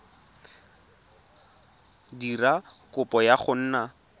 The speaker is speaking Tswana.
dira kopo ya go nna